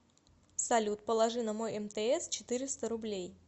салют положи на мой мтс четыреста рублей